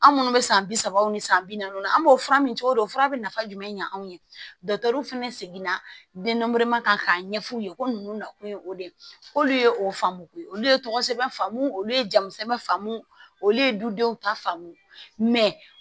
An minnu bɛ san bi saba ni san bi naani an b'o fura min cogo di o fura bɛ nafa jumɛn ɲa anw ye fana seginna denma k'a ɲɛf'u ye ko ninnu na kun ye o de ye k'olu ye o faamu ko olu ye tɔgɔ sɛbɛn faamu olu ye jamusɛbɛn faamu olu ye dudenw ta faamu